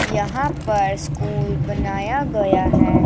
यहां पर स्कूल बनाया गया है।